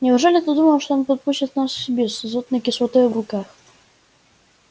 неужели ты думаешь что он подпустит нас к себе с азотной кислотой в руках